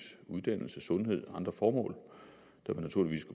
uddannelse sundhed og andre formål der naturligvis